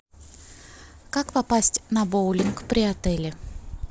как попасть на боулинг при отеле